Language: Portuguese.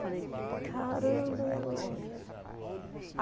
Falei, caramba, e agora?